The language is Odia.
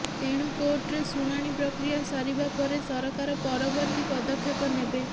ତେଣୁ କୋର୍ଟରେ ଶୁଣାଣି ପ୍ରକ୍ରିୟା ସରିବା ପରେ ସରକାର ପରବର୍ତି ପଦକ୍ଷେପ ନେବେ